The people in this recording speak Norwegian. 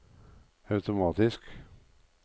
automatisk